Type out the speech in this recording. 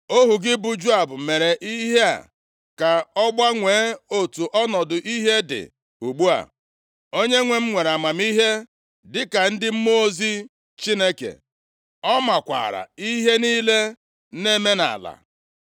Ohu gị bụ Joab mere ihe a ka ọ gbanwee otu ọnọdụ ihe dị ugbu a. Onyenwe m nwere amamihe dịka ndị mmụọ ozi Chineke. Ọ maakwara ihe niile na-eme nʼala.”